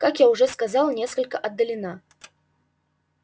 как я уже сказал несколько отдалена